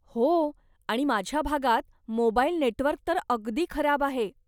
हो आणि माझ्या भागात मोबाईल नेटवर्क तर अगदी खराब आहे.